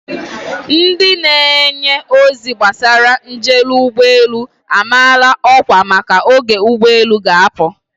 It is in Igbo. Ndị na-enye ozi gbasara njel ụgbọelu amaala ọkwa maka oge ụgbọelu ga-apụ.